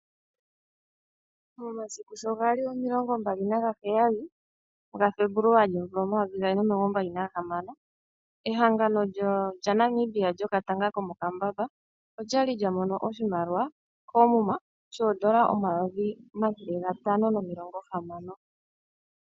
Momasiku shogali omilongo mbali nagaheyali gaFebuluwali omvula omayovi gaali nomilongo mbali na gahamano ehangano lyaNamibia lyomo katanga olyali lyamono oshimaliwa koomuma, oodolla omayovi omathele gantano nomilongo hamano.